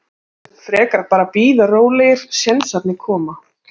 Við vildum frekar bara bíða rólegir, sénsarnir koma.